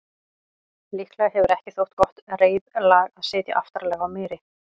Líklega hefur ekki þótt gott reiðlag að sitja aftarlega á meri.